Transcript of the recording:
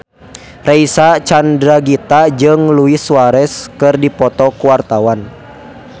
Reysa Chandragitta jeung Luis Suarez keur dipoto ku wartawan